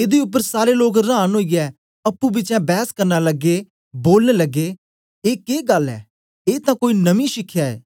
एदे उपर सारे लोक रांन ओईयै अप्पू बिचें बैस्स करना लगे बोलन लग्गे ए के गल्ल ऐ ए तां कोई नमीं शिखया ऐ